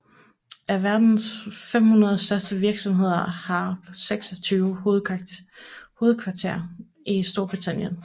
Af verdens 500 største virksomheder har 26 hovedkvarter i Storbritannien